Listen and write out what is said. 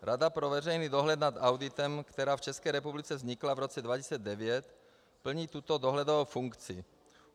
Rada pro veřejný dohled nad auditem, která v České republice vznikla v roce 2009, plní tuto dohledovou funkci.